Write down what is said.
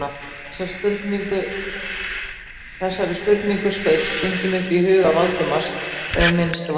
Þessari spurningu skaut stundum upp í huga Valdimars þegar minnst varði.